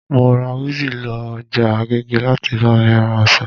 Mo rá wizzy lọ ọjà agége láti bá mi ra ọsàn